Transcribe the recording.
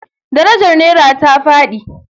Darajar nera ta fadi.